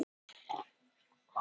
Sandbúðum